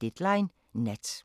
Deadline Nat